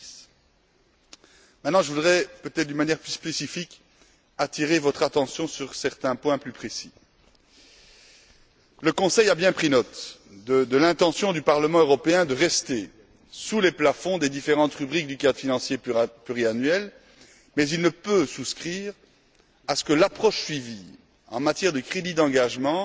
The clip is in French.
2010. Maintenant je voudrais peut être d'une manière plus spécifique attirer votre attention sur certains points plus précis. Le Conseil a bien pris note de l'intention du Parlement européen de rester sous les plafonds des différentes rubriques du cadre financier pluriannuel, mais il ne peut souscrire à ce que l'approche suivie en matière de crédits d'engagement